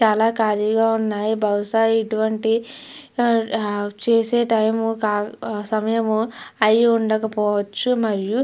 చాలా ఖాళీగా ఉన్నాయి బహుశా ఇటువంటి చేసే టైమ్ సమయము అయిఉండకపోవచ్చు మరియు --